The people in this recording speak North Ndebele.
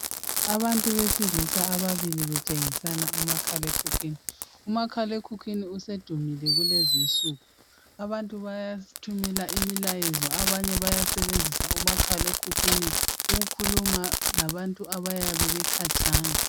Abantu besilisa ababili betshengisana umakhalekhukhwini. Umakhalekhukhwini usedumile kulezinsuku , abantu bayathumela imilayezo ,abanye bayasebenzisa umakhalekhukhwini ukukhuluma labantu abayabe bekhatshana.